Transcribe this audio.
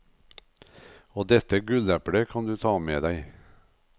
Og dette gulleplet kan du ta med deg.